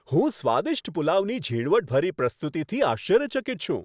હું સ્વાદિષ્ટ પુલાવની ઝીણવટભરી પ્રસ્તુતિથી આશ્ચર્યચકિત છું.